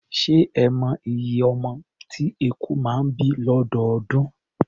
Ṣé ẹ mọ iye ọmọ tí eku máa ń bí lọ́dọọdún?